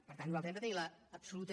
per tant nosaltres hem de tenir l’absoluta